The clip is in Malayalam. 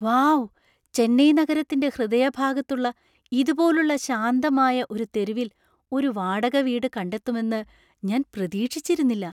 വൗ ! ചെന്നൈ നഗരത്തിന്‍റെ ഹൃദയഭാഗത്തുള്ള ഇതുപോലുള്ള ശാന്തമായ ഒരു തെരുവിൽ ഒരു വാടക വീട് കണ്ടെത്തുമെന്ന് ഞാൻ പ്രതീക്ഷിച്ചിരുന്നില്ല.